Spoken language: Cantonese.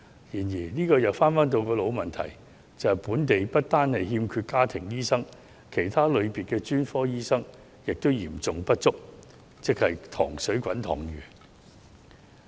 然而，這又回到老問題，即香港不單欠缺家庭醫生，連其他類別的專科醫生亦嚴重不足，即是人才供應"塘水滾塘魚"。